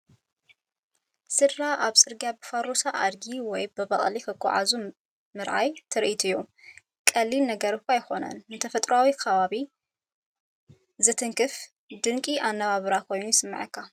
ስድራ ኣብ ጽርግያ ብፋሮሳ ኣድጊ ወይ በቕሊ ክጓዓዙ ምርኣይ ትርኢት'ዩ። ቀሊል ነገር'ኳ እንተኾነ፡ ንተፈጥሮኣዊ ከባቢ ዝትንክፍ ድንቂ ኣነባብራ ኮይኑ ይስምዓካ!